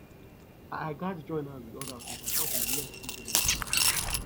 i gats join hands with others to support di less privileged